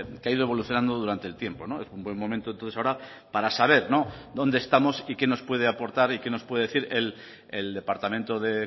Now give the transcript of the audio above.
que ha ido evolucionando durante el tiempo es un buen momento entonces ahora para saber dónde estamos y que nos puede aportar y que nos puede decir el departamento de